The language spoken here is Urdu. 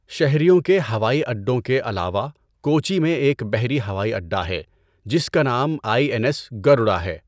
شہریوں کے ہوائی اڈوں کے علاوہ، کوچی میں ایک بحری ہوائی اڈہ ہے جس کا نام آئی این ایس گروڈا ہے۔